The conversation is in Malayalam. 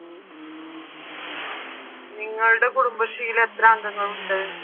നിങ്ങളുടെ കുടുംബശ്രീയിൽ എത്ര അംഗങ്ങൾ ഉണ്ട്?